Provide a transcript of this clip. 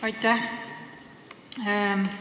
Aitäh!